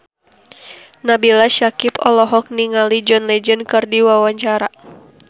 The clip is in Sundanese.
Nabila Syakieb olohok ningali John Legend keur diwawancara